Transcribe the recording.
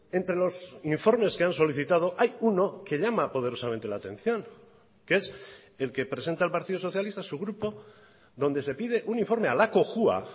entre los informes que han solicitado hay uno que llama poderosamente la atención que es el que presenta el partido socialista su grupo donde se pide un informe a la cojua